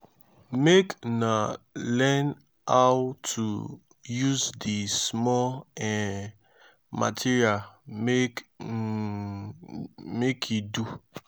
make una learn how to use di small um material make e um do.